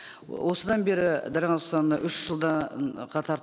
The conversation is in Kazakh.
осыдан бері дариға нұрсұлтановна үш жылдан қатар